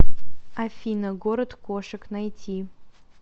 афина город кошек найти